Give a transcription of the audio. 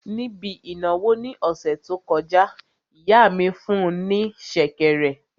Níbi ìnáwó ní ọ̀sẹ̀ tó kọjá, ìyá mi fún ní sẹ̀kẹ̀rẹ̀